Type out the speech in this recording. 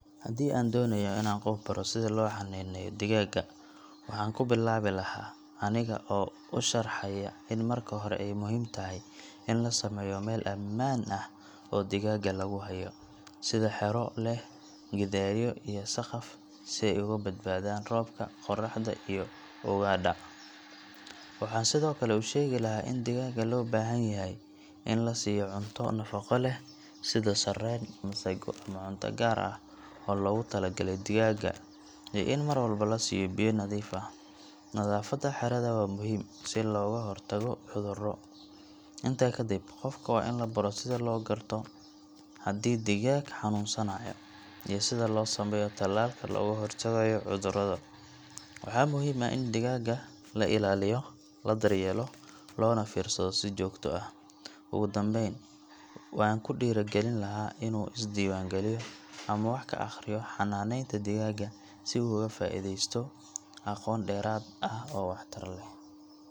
Haddii aan doonayo in aan qof baro sida loo xannaaneeyo digaagga, waxaan ku bilaabi lahaa aniga oo u sharxaya in marka hore ay muhiim tahay in la sameeyo meel ammaan ah oo digaagga lagu hayo sida xero leh gidaaryo iyo saqaf si ay uga badbaadaan roobka, qorraxda, iyo ugaadha. Waxaan sidoo kale u sheegi lahaa in digaagga loo baahan yahay in la siiyo cunto nafaqo leh sida sarreen, masago, ama cunto gaar ah oo loogu talagalay digaagga, iyo in mar walba la siiyo biyo nadiif ah. Nadaafadda xerada waa muhiim si looga hortago cudurro. Intaa kadib, qofka waa in la baro sida loo garto haddii digaag xanuunsanayo, iyo sida loo sameeyo tallaalka looga hortagayo cudurrada. Waxaa muhiim ah in digaagga la ilaaliyo, la daryeelo, loona fiirsado si joogto ah. Ugu dambayn, waan ku dhiirrigelin lahaa in uu isdiiwaangeliyo ama wax ka akhriyo xanaanaynta digaagga si uu uga sii faa’iideysto aqoon dheeraad ah oo waxtar leh.